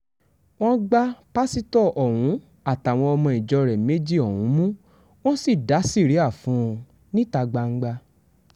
wọ́n gba pásítọ̀ ọ̀hún àtàwọn ọmọ ìjọ rẹ̀ méjì ọ̀hún mú wọ́n sì dá síríà fún un níta gbangba